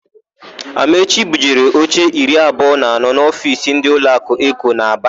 Amaechi bujere oche iri abụọ na anọ n'ofiisi ndị ụlọakụ Eko nọ n'Aba.